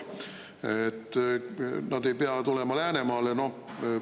Et nad ei pea tulema Läänemaale?